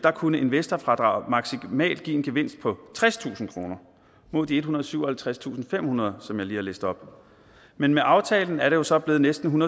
kunne investorfradraget maksimalt give en gevinst på tredstusind kroner mod de ethundrede og syvoghalvtredstusindfemhundrede som jeg lige har læst op men med aftalen er det jo så blevet næsten